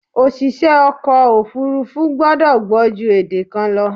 Oṣìṣẹ́ ọkọ̀ òfúrúfú gbọ́dọ̀ gbọ́ jù èdè kan lọ.